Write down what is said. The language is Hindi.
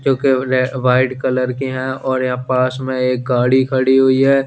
जो की रे वाइट कलर है और या पास में एक गाडी खड़ी हुई है।